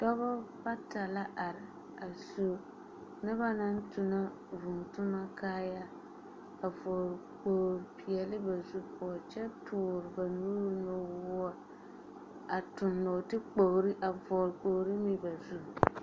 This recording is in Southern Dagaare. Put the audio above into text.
Dͻbͻ bata la are a su noba naŋ tonͻ vũũ toma kaayare, a vͻgele kpooli peԑle ba zu poͻ kyԑ toore ba nuuri nuwoͻ, a tuŋ nͻͻte-kpogiri, a vͻgele kpooli meŋ ba zu.